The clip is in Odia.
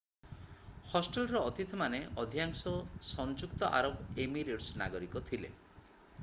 ହଷ୍ଟେଲର ଅତିଥିମାନେ ଅଧିକାଂଶ ସଂଯୁକ୍ତ ଆରବ ଏମିରେଟ୍ସର ନାଗରିକ ଥିଲେ